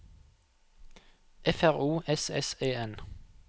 F R O S S E N